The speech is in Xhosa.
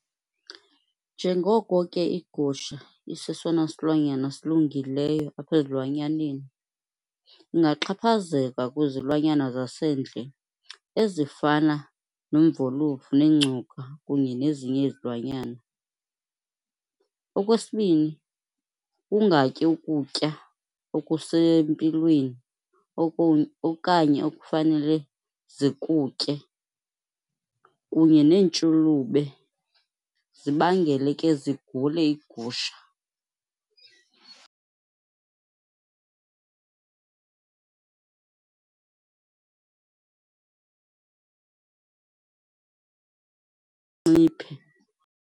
Njengoko ke iigusha isesona silwanyana silungileyo apha ezilwanyaneni, ingaxhaphazeleka kwizilwanyana zasendle ezifana nomvolovu nengcuka kunye nezinye izilwanyana. Okwesibini, kungatyi ukutya okusempilweni okanye ekufanele zikutye kunye neentshulube zibangele ke zigule iigusha .